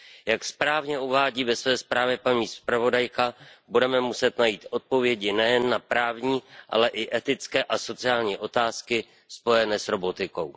Jak správně uvádí ve své zprávě paní zpravodajka, budeme muset najít odpovědi nejen na právní, ale i etické a sociální otázky spojené s robotikou.